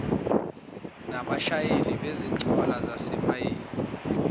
nabashayeli bezinqola zasemayini